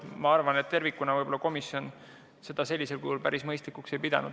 Ma arvan, et tervikuna võib-olla komisjon seda sellisel kujul päris mõistlikuks ei peaks.